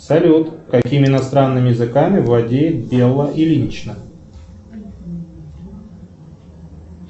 салют какими иностранными языками владеет белла ильинична